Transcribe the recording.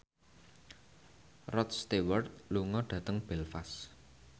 Rod Stewart lunga dhateng Belfast